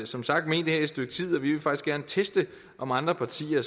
som sagt ment det her et stykke tid og vi vil faktisk gerne teste om andre partier